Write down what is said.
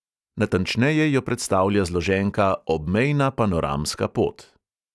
Natančneje jo predstavlja zloženka obmejna panoramska pot.